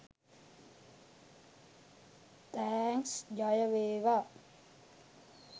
thanks ජයවේවා